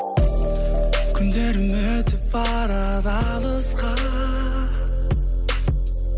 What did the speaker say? күндерім өтіп барады алысқа